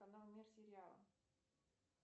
канал мир сериала